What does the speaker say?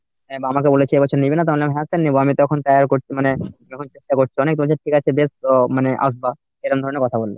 আমাকে বলেছে এবছর নিবি না? তো আমি বললাম হ্যাঁ sir নেব, আমি তখন sir বলছে মানে মানে আসবা এরকম ধরনের কথা বলল।